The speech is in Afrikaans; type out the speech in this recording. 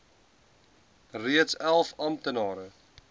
reeds elf amptelike